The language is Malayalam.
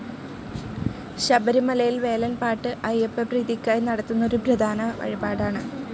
ശബരിമലയിൽ വേലൻ പാട്ട് അയ്യപ്പപ്രീതിക്കായി നടത്തുന്ന ഒരു പ്രധാന വഴിപാടാണ്.